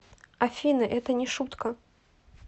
афина это не шутка